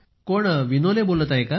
कोण विनोले बोलत आहे का